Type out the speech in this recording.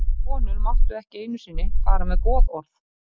Konur máttu ekki einu sinni fara með goðorð.